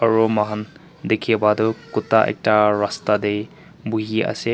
aru moi khan dikhi pa toh kuta ekta rasta te buhi ase.